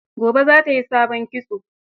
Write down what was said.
Gobe za ta yi sabon kitso.